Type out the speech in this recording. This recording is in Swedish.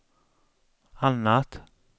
annat